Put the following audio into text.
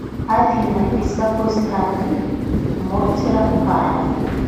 афина из какой страны мортира карл